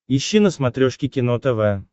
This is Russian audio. ищи на смотрешке кино тв